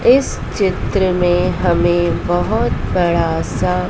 इस चित्र में हमें बहोत बड़ा सा--